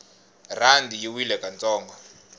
rhandi yi wile ka ntsongo